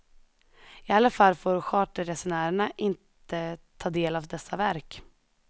I alla fall får charterresenärerna inte ta del av dessa verk.